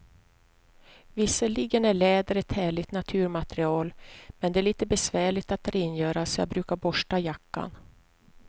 Visserligen är läder ett härligt naturmaterial, men det är lite besvärligt att rengöra, så jag brukar borsta jackan.